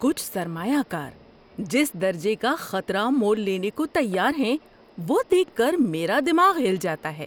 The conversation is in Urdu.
کچھ سرمایہ کار جس درجے کا خطرہ مول لینے کو تیار ہیں وہ دیکھ کر میرا دماغ ہل جاتا ہے۔